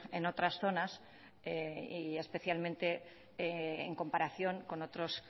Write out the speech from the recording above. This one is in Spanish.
en otras zonas y especialmente en comparación con otros